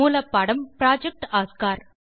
மூலப்பாடம் project Oscar